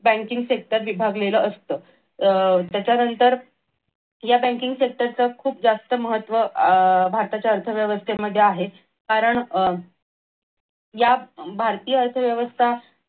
banking sector विभागलेल असत अह त्याच्यानंतर या banking sector च खूप जास्त महत्व अह भारताच्या अर्थव्यवस्थेमध्ये आहे कारण अह या भारतीय अर्थव्यवस्था